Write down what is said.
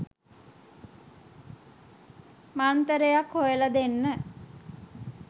මන්තරයක් හොයල දෙන්න.